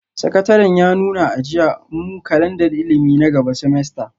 Sakataren ya nuna a jiya, mu kalandar ilimi na gaba semester,